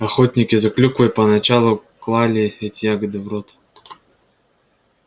охотники за клюквой поначалу клали эти ягоды в рот